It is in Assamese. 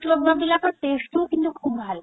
লগোৱা বিলাকৰ taste ও কিন্তু খুব ভাল